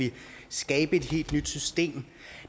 skabe et helt nyt system